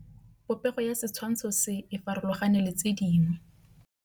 Popêgo ya setshwantshô se, e farologane le tse dingwe.